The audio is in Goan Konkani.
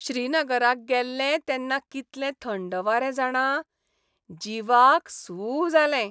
श्रीनगराक गेल्ले तेन्ना कितले थंड वारे जाणा, जीवाक सू जालें.